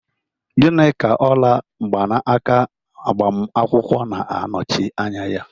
Gịnị ka ola mgbanaka agbamakwụkwọ na-anọchi anya ya?